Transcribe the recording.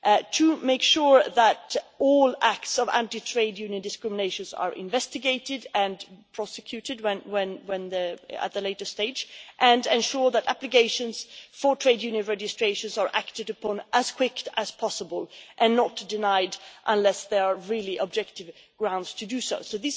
to make sure that all acts of anti trade union discrimination are investigated and prosecuted at a later stage and to ensure that applications for trade union registrations are acted upon as quickly as possible and not denied unless there are really objective grounds for doing